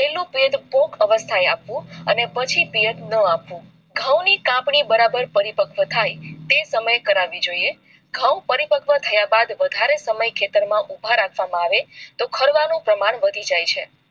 પછી પિયત ના આપવું ઘઉં નું પાકવી બરાબર પરિપક્વ થાય તે સમયેજ કરવી જોઈએ ઘઉં પરિપક્વ થયા બાદ વધારે સમય ખેતર માં ઉભા રહે તો ખારવા નો પ્રમાણ વધી જાય છે